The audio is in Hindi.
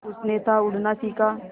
उसने था उड़ना सिखा